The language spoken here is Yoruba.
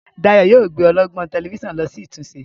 Dayo yíò gbé ọlọgbọn Tẹlifíṣàn ló sì ìtúnṣe.